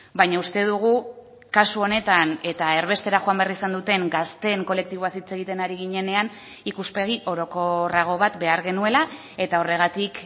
baina uste dugu kasu honetan eta erbestera joan behar izan duten gazteen kolektiboaz hitz egiten ari ginenean ikuspegi orokorrago bat behar genuela eta horregatik